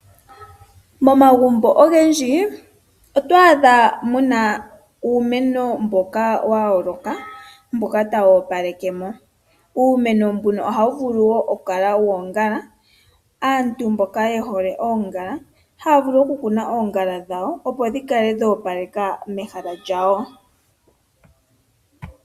Momagumbo ogendji otwaadha mu na uumeno mboka wa yooloka mboka tawu opalekemo. Ohawu vulu okukala woongala, aantu mboka ye hole oongala haya kunu oongala opo dhi kale dhoopaleka mehala lyawo.